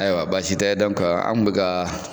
Ayiwa basi tɛ an kun bɛ ka